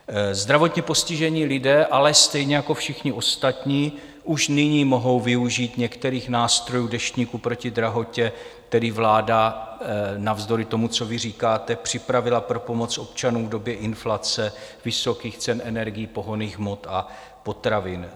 Zdravotně postižení lidé ale stejně jako všichni ostatní už nyní mohou využít některých nástrojů Deštníku proti drahotě, který vláda navzdory tomu, co vy říkáte, připravila pro pomoc občanům v době inflace, vysokých cen energií, pohonných hmot a potravin.